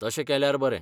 तशें केल्यार बरें.